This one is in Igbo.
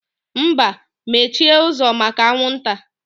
Mba, mechie ụzọ maka anwụ nta